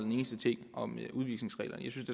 en eneste ting om udvisningsreglerne jeg synes